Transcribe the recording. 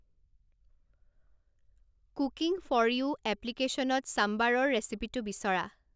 cooking for you এপলিকেশ্যনত চাম্বাৰৰ ৰেচিপিটো বিচৰা